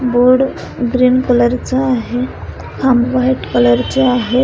Board green colour चा आहे खांब व्हाइट कलर चे आहेत.